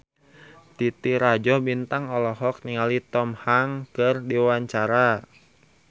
Titi Rajo Bintang olohok ningali Tom Hanks keur diwawancara